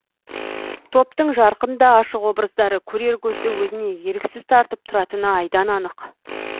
топтың жарқын да ашық образдары көрер көзді өзіне еріксіз тартып тұратыны айдан анық